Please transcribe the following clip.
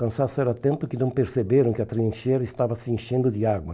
o cansaço era tanto que não perceberam que a trincheira estava se enchendo de água.